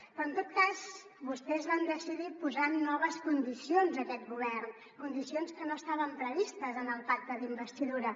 però en tot cas vostès van decidir posar noves condicions a aquest govern condicions que no estaven previstes en el pacte d’investidura